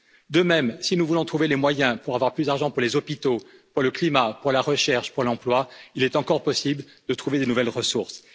De même, si nous voulons trouver les moyens pour avoir plus d'argent pour les hôpitaux, pour le climat, pour la recherche, pour l'emploi, il est encore possible de trouver de nouvelles ressources.